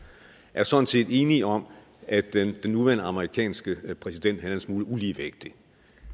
er sådan set enige om at den nuværende amerikanske præsident er en smule uligevægtig